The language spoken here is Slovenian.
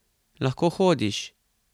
Lahko hodiš?